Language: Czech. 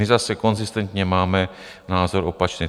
My zase konzistentně máme názor opačný.